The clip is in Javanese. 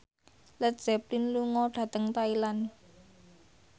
Led Zeppelin lunga dhateng Thailand